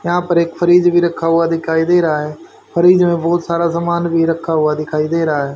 यहां पर एक फ्रिज भी रखा हुआ दिखाई दे रहा फ्रिज में बहुत सारा सामान भी रखा हुआ दिखाई दे रहा --